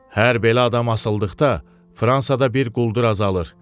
Hər belə adam asıldıqda Fransada bir quldur azalır.